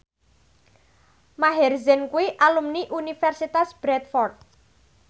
Maher Zein kuwi alumni Universitas Bradford